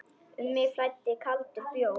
Um mig flæddi kaldur bjór.